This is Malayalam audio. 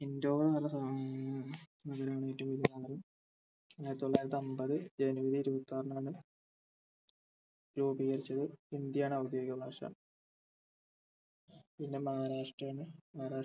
indoor ന്ന് പറഞ്ഞ ആയിരത്തിതൊള്ളായിരത്തിഅമ്പത് january ഇരുപത്തിആറിനാണ് രൂപീകരിച്ചത് ഹിന്ദി ആണ് ഔദ്യോഗിക ഭാഷ പിന്നെ മഹാരാഷ്ട്ര ആണ് മഹാരാഷ്